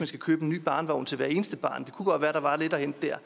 skal købe en ny barnevogn til hvert eneste barn det kunne godt være at der var lidt at hente der